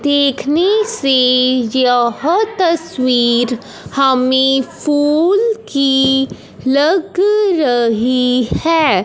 देखने से यह तस्वीर हमें फूल की लग रही है।